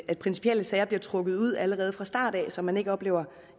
at principielle sager bliver trukket ud allerede fra start så man ikke oplever